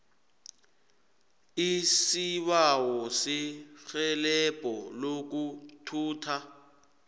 isibawo serhelebho lokuthutha